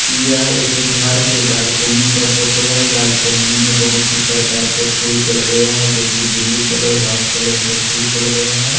यह एक घर के बालकनी का फोटो है बालकनी में बहुत ही प्रकार के फूल को लगाया है जो कि ब्लू कलर वाइट कलर का फूल को लगाया है।